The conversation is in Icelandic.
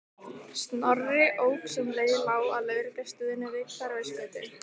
Snorri ók sem leið lá að lögreglustöðinni við Hverfisgötu.